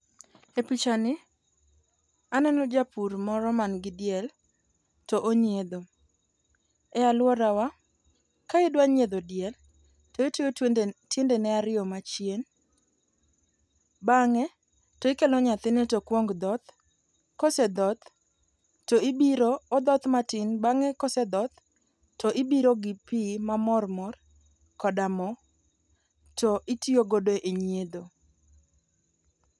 E picha ni, aneno japur moro manigi diel to onyiedho, e alworawa ka idwa nyiedho diel to itweyo tiendene ariyo machien, bang'e tikelo nyathine to kwong dhoth to kosedhoth to ibiro odhoth matin bang'e kosedhoth to ibiro gi pi mamor mor koda mo to itiyogodo e nyiedho.